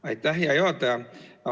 Aitäh, hea juhataja!